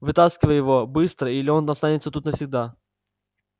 вытаскивай его быстро или он останется тут навсегда